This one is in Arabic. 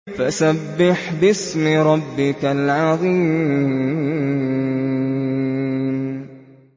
فَسَبِّحْ بِاسْمِ رَبِّكَ الْعَظِيمِ